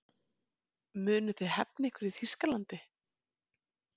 Munuð þið hefna ykkar í Þýskalandi?